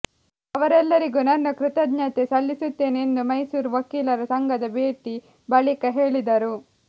ಅವರೆಲ್ಲರಿಗೂ ನನ್ನ ಕೃತಜ್ಞತೆ ಸಲ್ಲಿಸುತ್ತೇನೆ ಎಂದು ಮೈಸೂರು ವಕೀಲರ ಸಂಘದ ಭೇಟಿ ಬಳಿಕ ಹೇಳಿದರು